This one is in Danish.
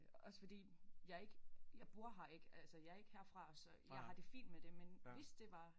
Også fordi jeg ikke jeg bor her ikke altså jeg ikke herfra så jeg har det fint med det men hvis det var